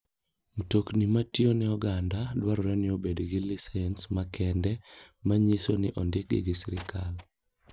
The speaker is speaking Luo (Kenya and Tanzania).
Mtokni matiyone oganda dwarore ni obed gi lisens makende ma nyiso ni ondikgi gi sirkal.